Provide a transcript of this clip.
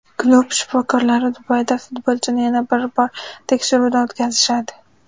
Klub shifokorlari Dubayda futbolchini yana bir bor tekshiruvdan o‘tkazishadi.